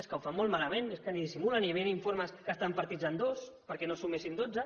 és que ho fan molt malament és que ni dissimulen i havien informes que estan partits en dos perquè no sumessin dotze